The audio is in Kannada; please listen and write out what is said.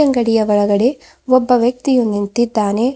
ಗಡಿಯ ಒಳಗಡೆ ಒಬ್ಬ ವ್ಯಕ್ತಿಯೂ ನಿಂತಿದ್ದಾನೆ.